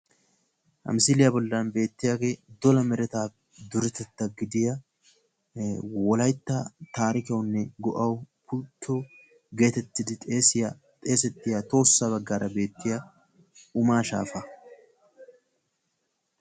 ha misiliya bollanni beetiyage dolla meretta duretetta gidiya tohossa baggara beetiya umma shaafa.